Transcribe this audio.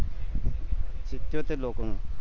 સીત્યોતેર લોકો નું